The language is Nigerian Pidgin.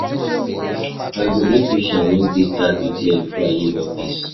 I go dey patient make dis traffic clear before I leave office.